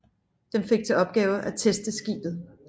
Den fik til opgave at teste skibet